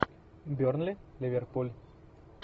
бернли ливерпуль